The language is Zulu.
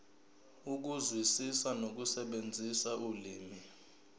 ukuzwisisa nokusebenzisa ulimi